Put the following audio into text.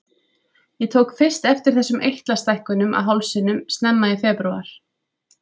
Ég tók fyrst eftir þessum eitlastækkunum á hálsinum snemma í febrúar.